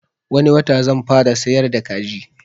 Wani wata zan fara siyar da kaji